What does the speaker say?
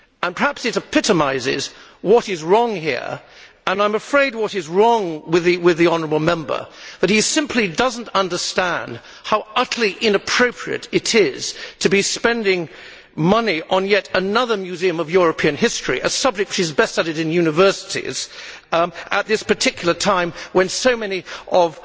Perhaps it epitomises what is wrong here and, I am afraid, what is wrong with the honourable Member that he simply does not understand how utterly inappropriate it is to be spending money on yet another Museum of European History a subject which is best studied in universities at this particular time, when so many of